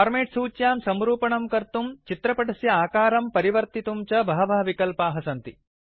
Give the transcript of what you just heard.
format सूच्यां संरूपणं कर्तुं चित्रपटस्य आकारं परिवर्तितुं च बहवः विकल्पाः सन्ति